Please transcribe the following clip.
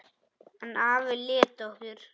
En afi lét okkur